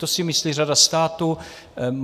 To si myslí řada států.